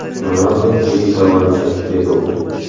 Ronaldu buyuk davomchi”, dedi u.